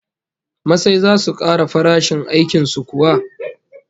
Masai zasu kara farashin aikin su kuwa?